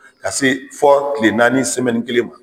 Ka se fɔ kile naani kelen ma.